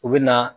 U bɛ na